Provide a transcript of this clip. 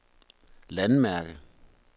landmærke